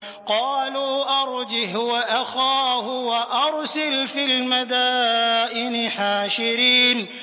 قَالُوا أَرْجِهْ وَأَخَاهُ وَأَرْسِلْ فِي الْمَدَائِنِ حَاشِرِينَ